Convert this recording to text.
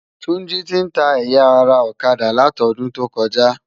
Tunji ti n tá ëyá ara òkadá látòdúntókòjá